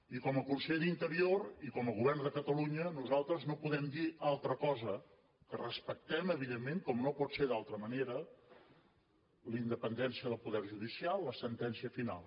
i com a conseller d’interior i com a govern de catalunya nosaltres no podem dir altra cosa que respectem evidentment com no pot ser d’una altra manera la independència del poder judicial la sentència final